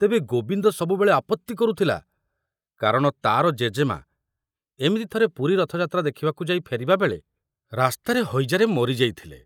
ତେବେ ଗୋବିନ୍ଦ ସବୁବେଳେ ଆପତ୍ତି କରୁଥିଲା, କାରଣ ତାର ଜେଜେମା ଏମିତି ଥରେ ପୁରୀ ରଥଯାତ୍ରା ଦେଖିବାକୁ ଯାଇ ଫେରିବା ବେଳେ ରାସ୍ତାରେ ହଇଜାରେ ମରି ଯାଇଥିଲେ।